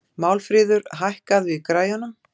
Málmfríður, hækkaðu í græjunum.